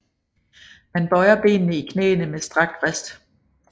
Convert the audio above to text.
Man bøjer benene i knæene med strakt vrist